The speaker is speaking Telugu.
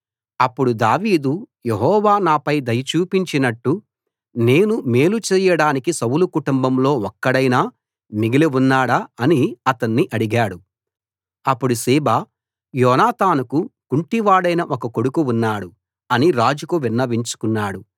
అప్పుడు దావీదు యెహోవా నాపై దయ చూపించినట్టు నేను మేలు చేయడానికి సౌలు కుటుంబంలో ఒక్కడైనా మిగిలి ఉన్నాడా అని అతణ్ణి అడిగాడు అప్పుడు సీబా యోనాతానుకు కుంటివాడైన ఒక కొడుకు ఉన్నాడు అని రాజుకు విన్నవించుకున్నాడు